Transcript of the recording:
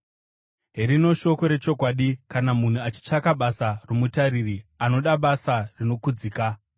Herino shoko rechokwadi: kana munhu achitsvaka basa romutariri, anoda basa rinokudzika.